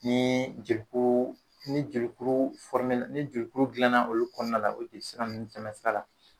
Nii jekuu ni jelikuru na ni jelikuru dilanna olu kɔɔna la o te sira nn tɛmɛ sira la